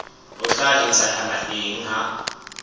ho tla etsahala eng ha